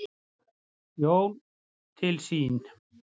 Jón til sín.